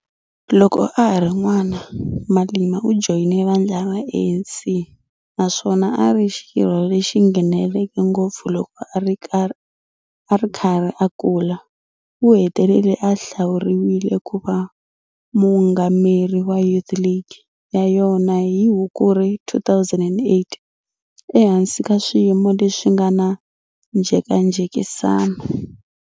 Loko a ha ri n'wana, Malema u joyine vandla ra ANC naswona a ri xirho lexi ngheneleke ngopfu loko a ri karhi a kula, u hetelele a hlawuriwile ku va muungameri wa Youth League ya yona hi Hukuri 2008 ehansi ka swiyimo leswi nga na njhekanjhekisano.